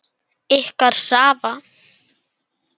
Ykkar Svava.